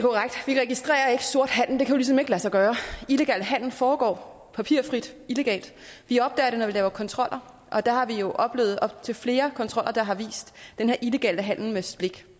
registrerer ikke sort handel jo ligesom ikke lade sig gøre illegal handel foregår papirfrit illegalt vi opdager det når vi laver kontroller og der har vi jo oplevet op til flere kontroller der har vist den her illegale handel med slik